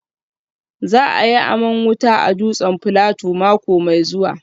Za a yi aman wuta a dutsen Filato mako mai zuwa